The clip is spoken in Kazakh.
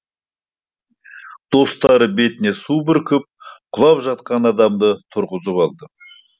достары бетіне су бүркіп құлап жатқан адамды тұрғызып алды